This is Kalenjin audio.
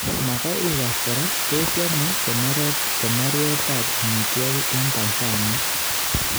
Magoi igas kora, tos yame konoret ab amitwogik eng Tansania